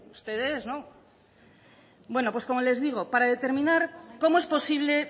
ustedes no bueno pues como les digo para determinar cómo es posible